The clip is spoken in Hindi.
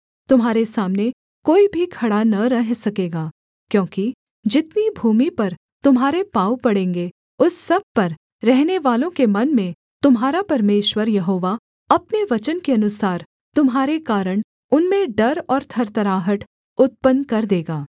तुम्हारे सामने कोई भी खड़ा न रह सकेगा क्योंकि जितनी भूमि पर तुम्हारे पाँव पड़ेंगे उस सब पर रहनेवालों के मन में तुम्हारा परमेश्वर यहोवा अपने वचन के अनुसार तुम्हारे कारण उनमें डर और थरथराहट उत्पन्न कर देगा